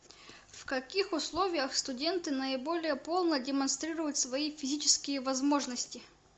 в каких условиях студенты наиболее полно демонстрируют свои физические возможности